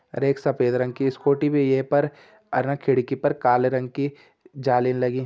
अर एक सफेद रंग की स्कूटी भी ये पर अर ना खिड़की पर काले रंग की जालिन लगीं।